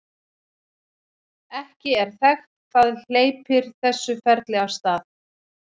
ekki er þekkt hvað hleypir þessu ferli af stað